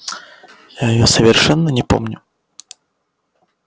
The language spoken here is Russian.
я её совершенно не помню